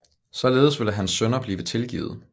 Således ville hans synder blive tilgivet